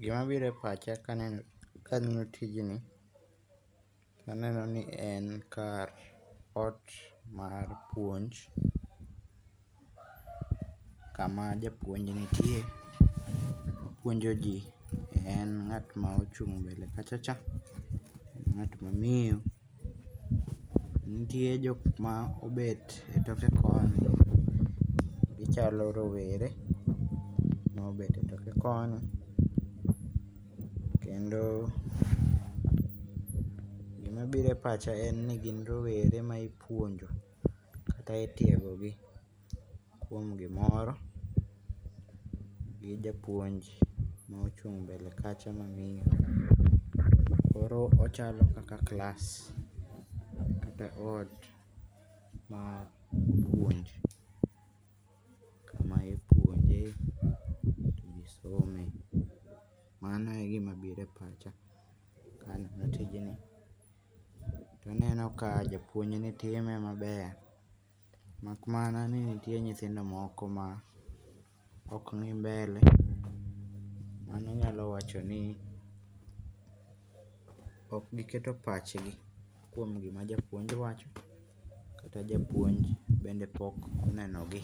Gima biro e pacha ka aneno kang'iyo tijni, aneno ni en kar ot mar puonj. Kama japuonj nitie puonjo ji en ng'at ma ochung' mbele kachacha. En ng'at ma miyo. Nitie jok ma obet etoke koni. Gichalo rowere mobet toke koni. Kendo gima biro e pacha en ni gin rowere ma ipuonjo kae itiego gi kuom gimoro gi japuonj mochung' mbele kacha mang'eyo. Koro ochalo kaka klas kata ot mar puonj. Kame ipuonje to ji some. Mano e gima biro e pacha. Ka ang'iyo tijni to aneno ka japuonjni time maber mak mana ni nitie nyithindo moko ma moko ni mbele mano nyalo wacho ni ok giketo pach gi kuom gima japuonj wacho kata japuonj bende pok oneno gi